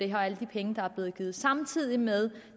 her alle de penge der er blevet givet samtidig med